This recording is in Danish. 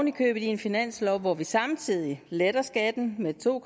i købet i en finanslov hvor vi samtidig letter skatten med to